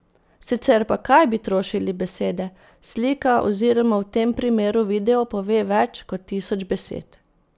Sicer pa kaj bi trošili besede, slika oziroma v tem primeru video pove več kot tisoč besed.